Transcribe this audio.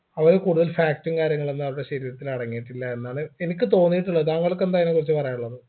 അവര് കൂടുതൽ fat ഉം കാര്യങ്ങളൊന്നും അവരുടെ ശരീരത്തിൽ അടങ്ങിയിട്ടില്ല എന്നാണ് എനിക്ക് തോന്നിയിട്ടുള്ളത് താങ്കൾക്ക് എന്താ അതിനെ കുറിച്ച് പറയാനുള്ളത്